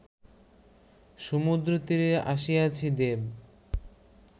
সমুদ্রতীরে আসিয়াছি-দেব!